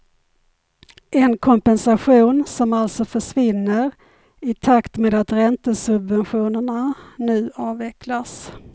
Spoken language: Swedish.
En kompensation som alltså försvinner i takt med att räntesubventionerna nu avvecklas.